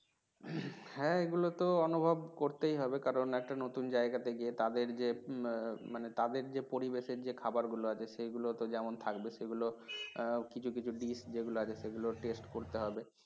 হ্যাঁ এগুলো তো অনুভব করতেই হবে। কারণ একটা নতুন জায়গাতে গিয়ে তাঁদের যে মানে তাদের যে পরিবেশের যে খাবার গুলো আছে সেগুলো যেমন থাকবে সেগুলো কিছু কিছু dish যেগুলো আছে সেগুলো test করতে হবে